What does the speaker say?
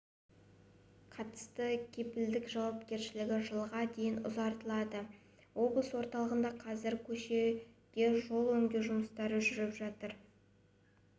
қатысты кепілдік жауапкершілігі жылға дейін ұзартылды облыс орталығында қазір көшеде жол жөндеу жұмыстары жүріп жатыр